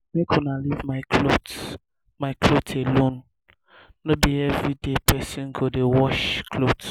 make una leave my cloth my cloth alone no be everyday person go dey wash cloth